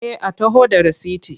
Eh a taho da rasiti.